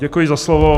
Děkuji za slovo.